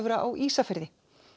á Ísafirði